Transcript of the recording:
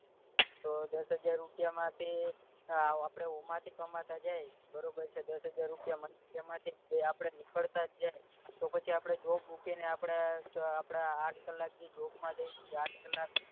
તો દસ હજાર રૂપિયા માંથી આપડે ઓમાંથી કમાતા જઈએ બરોબર છે દસ હજાર રૂપિયા એમાંથી ને બે આપડે નીકળતાજ જાય તો પછી આપડે job છે ને આપડે સુ કેવાય આપડે આઠ કલાક ની job માં દયસ આઠ કલાક